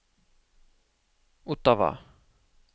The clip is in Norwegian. Ottawa